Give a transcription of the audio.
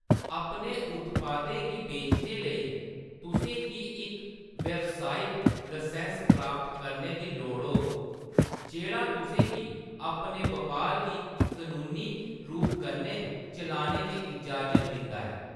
अपने उत्पादें गी बेचने लेई, तुसें गी इक व्यावसायिक लसैंस्स प्राप्त करने दी लोड़ होग जेह्‌‌ड़ा तु'सें गी अपने बपार गी कनूनी रूप कन्नै चलाने दी इजाज़त दिंदा ऐ।